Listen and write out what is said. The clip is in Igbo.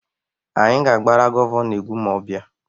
Anyị ga-agbara Gọvanọ egwu ma ọ bịa.